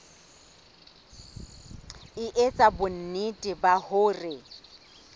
e etsa bonnete ba hore